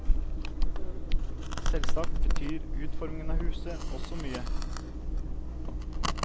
Selvsagt betyr utformingen av huset også mye.